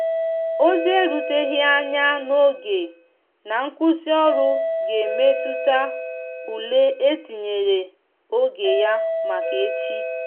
ozi e ruteghi anya n'oge na nkwụsi ọrụ ga emetụta ụle etinyere oge ya maka echi.